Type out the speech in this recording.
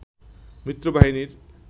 মিত্র বাহিনীর